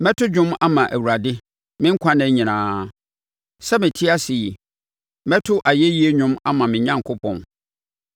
Mɛto dwom ama Awurade me nkwa nna nyinaa; sɛ mete ase yi, mɛto ayɛyie dwom ama me Onyankopɔn.